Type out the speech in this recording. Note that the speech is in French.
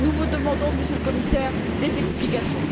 Nous vous demandons, Monsieur le Commissaire, des explications.